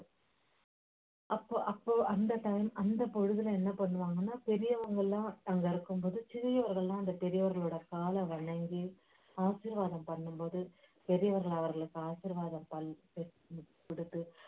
அப்போ அப்போ அந்த time அந்த பொழுதுல என்ன பண்ணுவாங்கன்னா பெரியவகளெல்லாம் அங்க இருக்கும்பொழுது சிறியவர்களெல்லாம் அந்த பெரியவர்களோட காலை வணங்கி ஆசீர்வாதம் பண்ணும்போது பெரியவர்கள் அவர்களை ஆசீர்வாதம்